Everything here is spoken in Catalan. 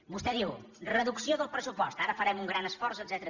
vostè diu reducció del pressupost ara farem un gran esforç etcètera